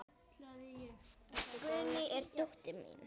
Ertu góður í að syngja?